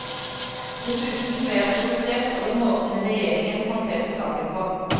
Dessuten ble jeg provosert over måten regjeringen håndterte saken på.